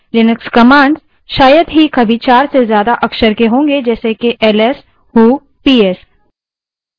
Linux commands शायद ही कभी चार से ज्यादा अक्षर के होंगे जैसे कि ls who ps